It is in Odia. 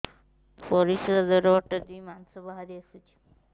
ପରିଶ୍ରା ଦ୍ୱାର ବାଟେ ମାଂସ ବାହାରି ଆସୁଛି